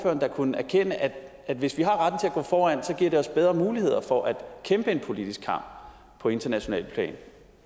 da kunne erkende at hvis vi har retten til at gå foran så giver det os bedre muligheder for at kæmpe en politisk kamp på internationalt plan